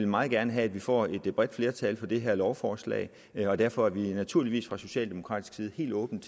meget gerne have at vi får et bredt flertal for det her lovforslag og derfor er vi naturligvis fra socialdemokratisk side helt åbne